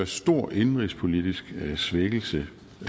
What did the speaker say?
stor indenrigspolitisk svækkelse